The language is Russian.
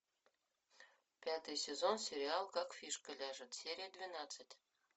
пятый сезон сериал как фишка ляжет серия двенадцать